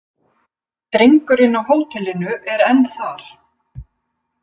Drengurinn á hótelinu er enn þar.